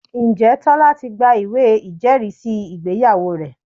Ǹjẹ́ Tọ́lá ti gba ìwé ìjẹ́rìísí ìgbéyàwó rẹ̀?